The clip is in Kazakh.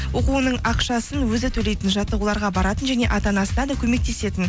оқуының ақшасын өзі төлейтін жаттығуларға баратын және ата анасына да көмектесетін